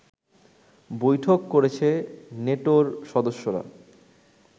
বৈঠক করেছে নেটোর সদস্যরা